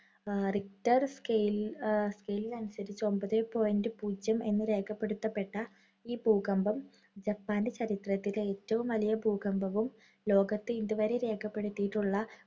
richter scale scale അനുസരിച്ച് ഒമ്പത് point പൂജ്യം എന്ന് രേഖപ്പെടുത്തപ്പെട്ട ഈ ഭൂകമ്പം ജപ്പാന്‍റെ ചരിത്രത്തിലെ ഏറ്റവും വലിയ ഭൂകമ്പവും, ലോകത്ത് ഇതുവരെ രേഖപ്പെടുത്തിയിട്ടുള്ള